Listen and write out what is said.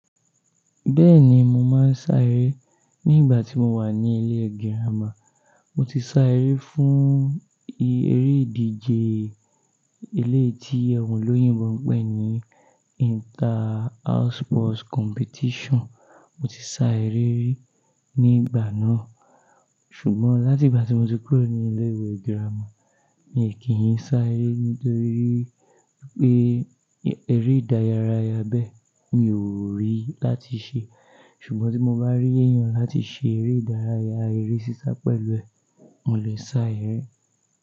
Bẹ́ẹ̀ni mo máa ń sá eré nígbà tí mo wà ní ilé girámà. Mo ti sá eré fún eré ìdíje eléyìí tí àwọn olóyìnbo ń pè ní inter house sports competition. Mo ti sá eré ri nígbà náà, ṣùgbọ́n láti ìgbà tí mo ti kúrò ní ilé ìwé gírámà, mi e kí ń sá eré nítorí pé eré ìdárayá bẹ́ẹ̀ mi ò rí láti ṣe. Ṣùgbọ́n tí mo bá rí èèyàn láti ṣe eré ìdárayá, eré sísá pẹ̀lú ẹ, mo lè sá eré.